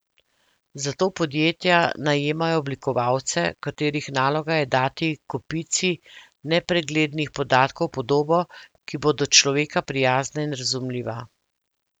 Zato podjetja najemajo oblikovalce, katerih naloga je dati kopici nepreglednih podatkov podobo, ki bo do človeka prijazna in razumljiva.